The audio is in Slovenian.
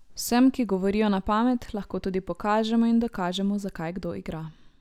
Vsem, ki govorijo na pamet, lahko tudi pokažemo in dokažemo, zakaj kdo igra.